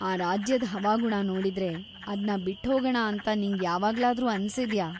ಆ ರಾಜ್ಯದ್ ಹವಾಗುಣ ನೋಡಿದ್ರೆ ಅದ್ನ ಬಿಟ್ಹೋಗಣ ಅಂತ ನಿಂಗ್ ಯಾವಾಗ್ಲಾದ್ರೂ ಅನ್ಸಿದ್ಯಾ?